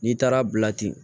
N'i taara bila ten